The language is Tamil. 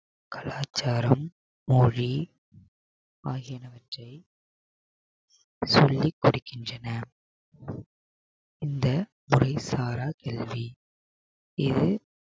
கலாச்சாரம் மொழி ஆகியனவற்றை சொல்லிக் கொடுக்கின்றன இந்த மொழி சாரா கல்வி இது